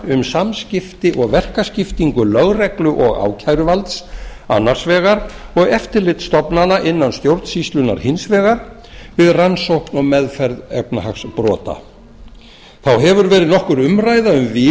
og samskipti um verkaskiptingu lögreglu og ákæruvalds annars vegar og eftirlitsstofnana innan stjórnsýslunnar hins vegar við rannsókn og meðferð efnahagsbrota þá hefur verið nokkur umræða um